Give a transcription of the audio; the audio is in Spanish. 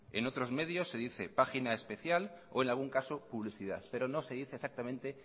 en otros medios se dice página especial o en algún caso publicidad pero no se dice exactamente